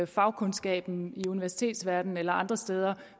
fagkundskaben i universitetsverdenen eller andre steder